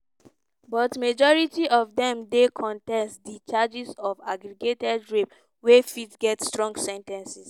but majority of dem dey contest di charges of aggravated rape wey fit get strong sen ten ces.